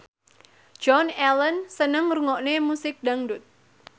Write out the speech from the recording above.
Joan Allen seneng ngrungokne musik dangdut